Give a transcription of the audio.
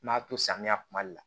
N m'a to samiya kuma de la